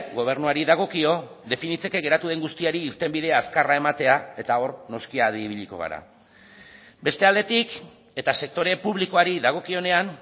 gobernuari dagokio definitzeke geratu den guztiari irtenbide azkarra ematea eta hor noski adi ibiliko gara beste aldetik eta sektore publikoari dagokionean